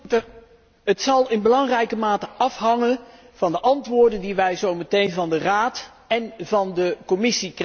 Het zal in belangrijke mate afhangen van de antwoorden die wij zo meteen van de Raad en van de Commissie krijgen.